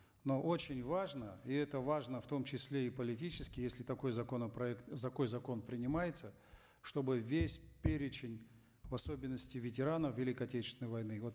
но очень важно и это важно в том числе и политически если такой законопроект такой закон принимается чтобы весь перечень в особенности ветеранов великой отечественной войны вот